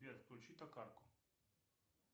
сбер включи токарку